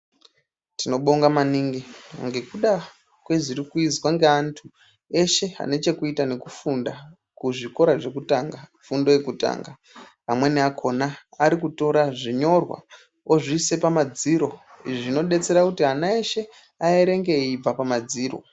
Tinobonga maningi ngekuda kwezvirikuizwa ngevantu veshe vanechekuita nekufunda muzvikora zvekutanga, fundo yekutanga. Amweni akhona ari kutora zvinyorwa vozviisa pamadziro. Izvi zvinodetsera kuti ana eshe aerenge zvichibva pamadziro.